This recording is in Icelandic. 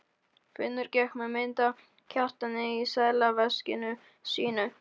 Finnur gekk með mynd af Kjartani í seðlaveskinu sínu.